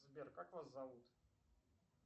сбер как вас зовут